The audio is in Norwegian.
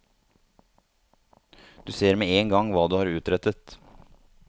Du ser med en gang hva du har utrettet.